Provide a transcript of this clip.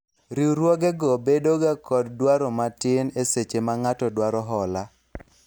Riwruoge go bedo ga kod dwaro matin eseche ma ng'ato dwaro hola